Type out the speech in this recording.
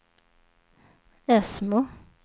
Ösmo